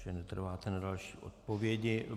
Že netrváte na další odpovědi.